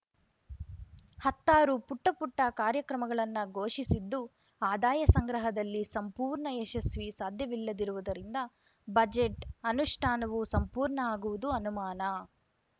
ಹತ್ತಾರು ಪುಟ್ಟಪುಟ್ಟಕಾರ್ಯಕ್ರಮಗಳನ್ನ ಘೋಷಿಸಿದ್ದು ಆದಾಯ ಸಂಗ್ರಹದಲ್ಲಿ ಸಂಪೂರ್ಣ ಯಶಸ್ವಿ ಸಾಧ್ಯವಿಲ್ಲದಿರುವುದರಿಂದ ಬಜೆಟ್‌ ಅನುಷ್ಠಾನವೂ ಸಂಪೂರ್ಣ ಆಗುವುದು ಅನುಮಾನ